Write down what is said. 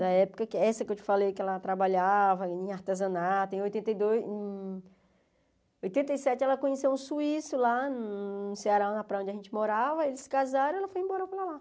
Da época que... Essa que eu te falei que ela trabalhava em artesanato, em oitenta e dois... Em oitenta e sete ela conheceu um suíço lá no Ceará, na praia onde a gente morava, eles se casaram e ela foi embora para lá.